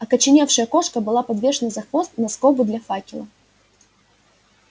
окоченевшая кошка была подвешена за хвост на скобу для факела